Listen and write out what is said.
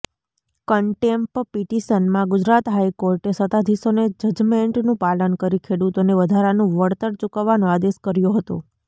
કેન્ટેમ્પ પિટિશનમાં ગુજરાત હાઈકોર્ટે સત્તાધીશોને જજમેન્ટનું પાલન કરી ખેડૂતોને વધારાનું વળતર ચૂકવવાનો આદેશ કર્યો હતો